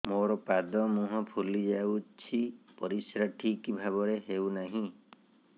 ମୋର ପାଦ ମୁହଁ ଫୁଲି ଯାଉଛି ପରିସ୍ରା ଠିକ୍ ଭାବରେ ହେଉନାହିଁ